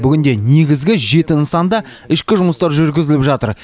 бүгінде негізгі жеті нысанда ішкі жұмыстар жүргізіліп жатыр